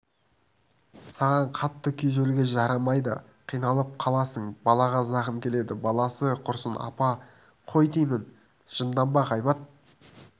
саған қатты күйзелуге жарамайды қиналып қаласың балаға зақым келеді баласы құрысын апа қой деймін жынданба ғайбат